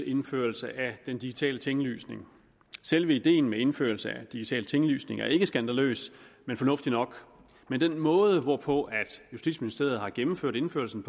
indførelse af den digitale tinglysning selve ideen med indførelse af digital tinglysning er ikke skandaløs men fornuftig nok men den måde hvorpå justitsministeriet har gennemført indførelsen